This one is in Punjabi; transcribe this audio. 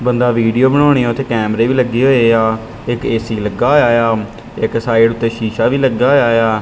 ਬੰਦਾ ਵੀਡੀਓ ਬਣਾਉਣੀ ਆ ਉੱਥੇ ਕੈਮਰੇ ਵੀ ਲੱਗੇ ਹੋਏ ਆ ਇੱਕ ਏ_ਸੀ ਲੱਗਾ ਹੋਇਆ ਏ ਆ ਇੱਕ ਸਾਈਡ ਉੱਤੇ ਸ਼ੀਸ਼ਾ ਵੀ ਲੱਗਾ ਹੋਇਆ ਏ ਆ।